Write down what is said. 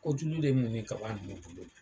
Ko julu de mun nin ka b'a bolo